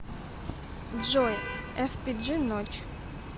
джой эфпиджи ночь